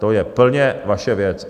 To je plně vaše věc.